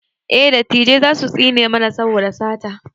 eh dattijai zasu tsine mana saboda sata